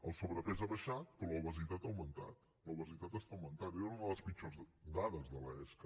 el sobrepès ha baixat però l’obesitat ha augmentat l’obesitat està augmentant era una de les pitjors dades de l’esca